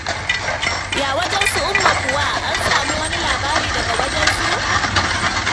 Ya wajen su Umma kuwa? Ana samun wani labari daga wajensu?